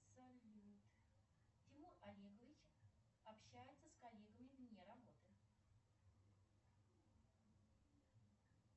салют тимур олегович общается с коллегами вне работы